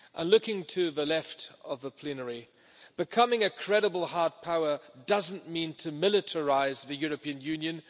Looking to the left of the plenary, becoming a credible hard power does not mean militarising the European Union